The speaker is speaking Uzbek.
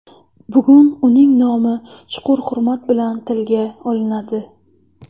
Bugun uning nomi chuqur hurmat bilan tilga olinadi.